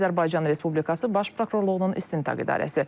Azərbaycan Respublikası Baş Prokurorluğunun İstintaq İdarəsi.